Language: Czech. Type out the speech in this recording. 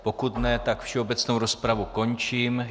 Pokud ne, tak všeobecnou rozpravu končím.